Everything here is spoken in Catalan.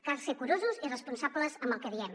cal ser curosos i responsables amb el que diem